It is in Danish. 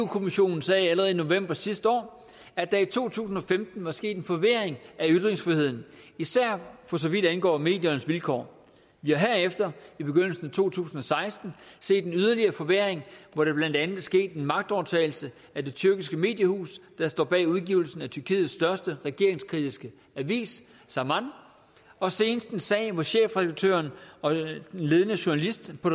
kommissionen sagde allerede i november sidste år at der i to tusind og femten var sket en forværring af ytringsfriheden især for så vidt angår mediernes vilkår vi har herefter i begyndelsen af to tusind og seksten set en yderligere forværring hvor der blandt andet er sket en magtovertagelse af det tyrkiske mediehus der står bag udgivelsen af tyrkiets største regeringskritiske avis zaman og senest en sag hvor chefredaktøren og en ledende journalist på